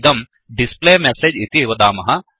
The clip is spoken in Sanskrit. इदं displayMessageडिस्प्ले मेसेज् इति वदामः